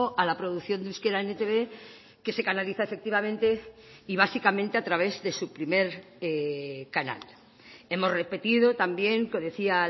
a la producción de euskera en etb que se canaliza efectivamente y básicamente a través de su primer canal hemos repetido también que decía